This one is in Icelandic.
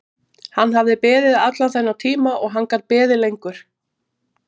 Hann hafði beðið allan þennan tíma og hann gat beðið lengur.